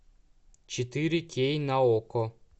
четыре кей на окко